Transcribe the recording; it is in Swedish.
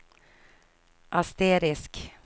asterisk